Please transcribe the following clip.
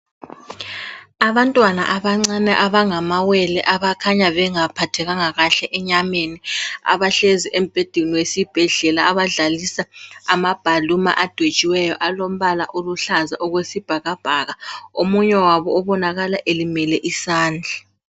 Abantwana abancane abangamawele abakhanya bengaphathekanga kahle enyameni abahlezi embhedeni wesibhedlela, abadlalisa amabhaluma adwetshiweyo, alombala oluhlaza okwesibhakabhaka. Omunye wabo obonakala elimele isandla.